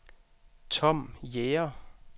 Tom Jæger